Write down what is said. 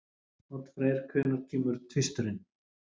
Oddfreyr, hvenær kemur tvisturinn?